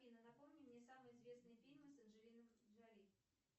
афина напомни мне самые известные фильмы с анджелиной джоли